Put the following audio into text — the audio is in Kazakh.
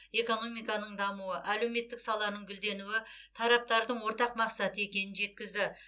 экономиканың дамуы әлеуметтік саланың гүлденуі тараптардың ортақ мақсаты екенін жеткізді